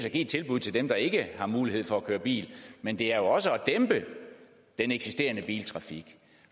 at give et tilbud til dem der ikke har mulighed for at køre bil men det er jo også at dæmpe den eksisterende biltrafik